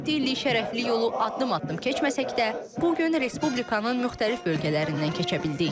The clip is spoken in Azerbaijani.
107 illik şərəfli yolu addım-addım keçməsək də, bu gün Respublikanın müxtəlif bölgələrindən keçə bildik.